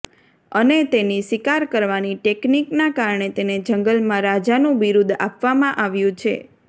અને તેની શિકાર કરવાની ટેકનિકના કારણે તેને જંગલના રાજાનું બિરુંદ આપવામાં આવ્યું છે